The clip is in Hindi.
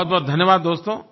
बहुतबहुत धन्यवाद दोस्तो